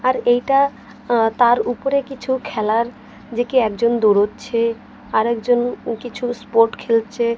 আর এইটা অ্যা তার উপরে কিছু খেলার যে কি একজন দোড়চ্ছে আরেকজন কিছু স্পোট খেলছে।